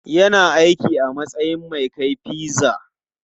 Yana aiki a matsayin mai kai pizza.